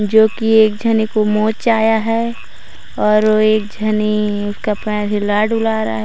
जो की एक झने को मोच आया है और एक झने का पैर हिला-डुला रहा है।